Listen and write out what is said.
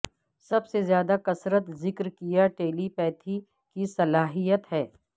سب سے زیادہ کثرت ذکر کیا ٹیلی پیتھی کی صلاحیت ہے